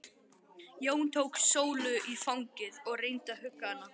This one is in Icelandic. Jón tók Sólu í fangið og reyndi að hugga hana.